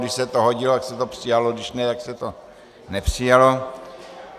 Když se to hodilo, tak se to přijalo, když ne, tak se to nepřijalo.